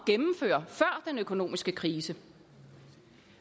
at økonomiske krise